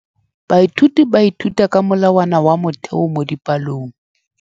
Baithuti ba ithuta ka molawana wa motheo mo dipalong.